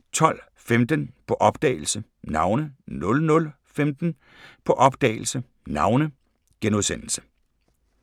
12:15: På opdagelse – Navne 00:15: På opdagelse – Navne *